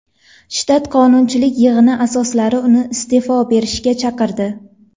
Shtat qonunchilik yig‘ini a’zolari uni iste’fo berishga chaqirdi.